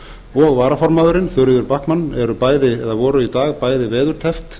og varaformaðurinn þuríður backman eru bæði eða voru í dag bæði veðurteppt